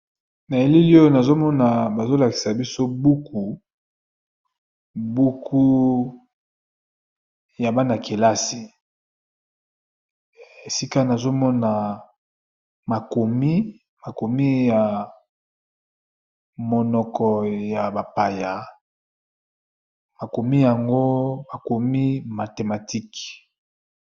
Na eleli oyo nazomona bazolakisa biso buku buku ya bana-kelasi. Esika nazomona makomi ya monoko ya bapaya makomi yango makomi mathematique.